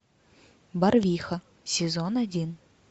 барвиха сезон один